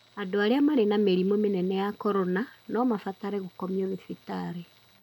Andũ arĩa marĩ na mĩrimũ mĩnene ya corona no mabatare gũkomio thibitarĩ.